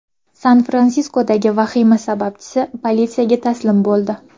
San-Fransiskodagi vahima sababchisi politsiyaga taslim bo‘ldi.